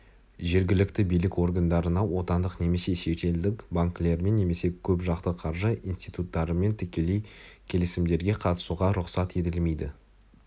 жергілікті билік органдарына отандық немесе шетелдік банкілермен немесе көп жақты қаржы институттарымен тікелей келісімдерге қатысуға рұқсат етілмейді